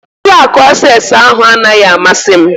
Ụlọ akụ Access ahụ anaghị amasị m